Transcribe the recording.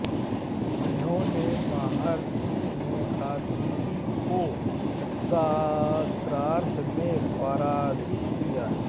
इन्होंने महर्षि मेधातिथि को शास्त्रार्थ में पराजित किया